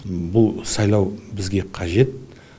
бұл сайлау бізге қажет